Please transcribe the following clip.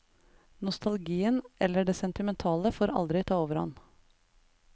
Nostalgien, eller det sentimentale, får aldri ta overhånd.